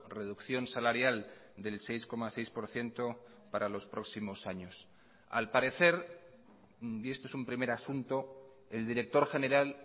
reducción salarial del seis coma seis por ciento para los próximos años al parecer y esto es un primer asunto el director general